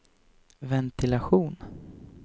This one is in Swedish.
ventilation